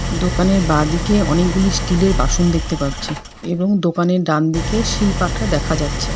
দোকানের বাঁদিকে অনেকগুলি স্টিল এর বাসন দেখতে পাচ্ছি এবং দোকানের ডান দিকে শিলপাটা দেখা যাচ্ছে।